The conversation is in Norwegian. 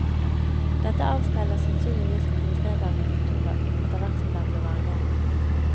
Dette avspeiler sannsynligvis prisnedgangen på tobakk etterhvert som den ble vanligere.